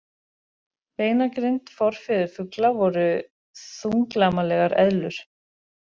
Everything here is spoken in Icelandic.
Beinagrind Forfeður fugla voru þunglamalegar eðlur.